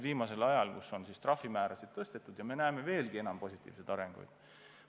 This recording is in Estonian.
Trahvimäärasid on tõstetud ja on teisigi positiivseid arenguid.